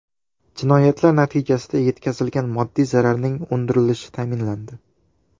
Jinoyatlar natijasida yetkazilgan moddiy zararning undirilishi ta’minlandi.